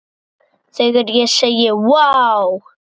Þegar ég segi: Vá!